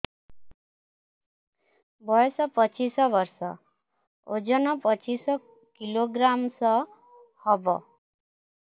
ବୟସ ପଚିଶ ବର୍ଷ ଓଜନ ପଚିଶ କିଲୋଗ୍ରାମସ ହବ